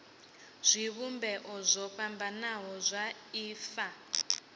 zwivhumbeo zwo fhambanaho zwa ifa